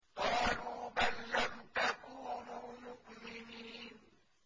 قَالُوا بَل لَّمْ تَكُونُوا مُؤْمِنِينَ